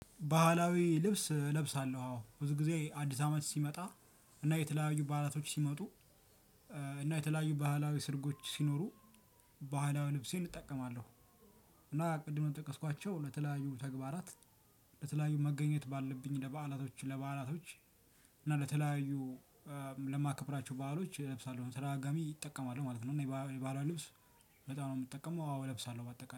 ባህላዊ ልብስ እለብሳለሁ አዎ ብዙ ጊዜ አዲስ አመት ሲመጣ እና የተለያዩ ባህላቶች ሲመጡ እና የተለያዩ ባህላዊ ሰርጎች ሲኖሩ ባህላዊ ልብሴን እጠቀማለሁ። እና ቅድም ነው የጠቀስኳቸው ለተለያዩ ተግባራት። ለተለያዩ መገኘት ባለብኝ ለበዓላቶች ለበዓላቶች እና ለተለያዩ እ ለማከብራቸው ባህሎች እለብሳለሁ በተደጋጋሚ እጠቀማለሁ ማለት ነው። እና የባህል የባህላዊ ልብስ በጣም ነው የምጠቀመው። አዎ እለብሳለሁ በአጠቃላይ